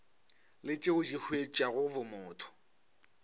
le tšeo di huetšago bomotho